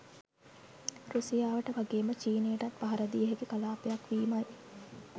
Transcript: රැසියාවට වගේම චීනයටත් පහර දිය හැකි කලාපයක් වීමයි.